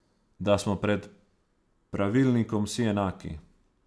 Da smo pred pravilnikom vsi enaki!